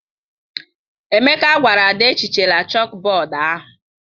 Emeka gwara Ada, ehichala chalkboard ahụ!